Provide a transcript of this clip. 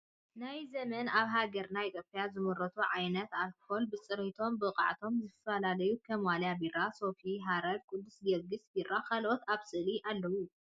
ናይ ዘመና ኣብ ሃገርና ኢትዮጵያ ዝምረቱ ዓይነት ኣልኮላት ብፅሬቶምን ብቅዓቶምን ዝፈላለዩ ከም ዋልያ ቢራ፣ ሶፊ፣ ሓረር፣ ቅዱስ ጌዮርጊስ ቢራን ካልኦትን ኣብ ስእሊ ኣለዉ።